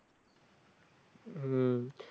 হম